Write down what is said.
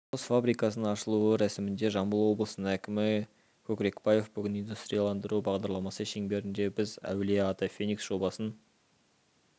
құс фабрикасының ашылуы рәсімінде жамбыл облысының әкімі көкрекбаев бүгін индустрияландыру бағдарламасы шеңберінде біз әулие-ата феникс жобасын